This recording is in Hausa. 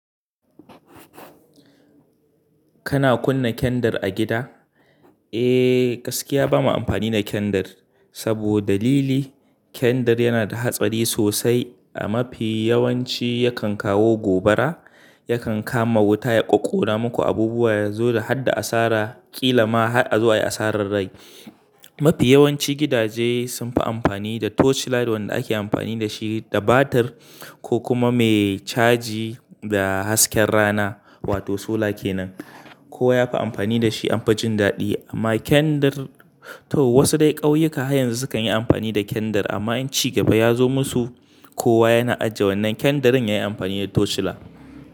Kana kunna kendir a gida? Eh, gaskiya bamu amfani da Kendir saboda dalili kendar yana da hatsari sosai. A mafi yawanci yakan kawo gobara, yakan kama wuta, ya ƙoƙora muku abubuwa, ya zo da hadda asara, ƙila ma har a zo ayi asarar rai. Mafi yawanci gidaje sunfi amfani da torchlight wanda ake amfani dashi da batir ko kuma me caji da hasken rana wato sola kenan. Kowa yafi amfani da shi anfa jin daɗi amma kendir, to wasu dai ƙauyuka har yanzu sukan yi amfani da kendar amma in ci gaba ya zo musu, kowa yana ajiye wannan kendirin ya yi amfani da torchlight.